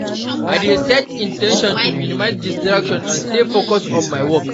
I dey set in ten tion to minimize distractions and stay focused on my work.